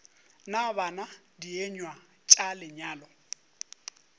na bana dienywa tša lenyalo